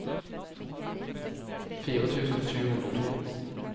fire tusen sju hundre og to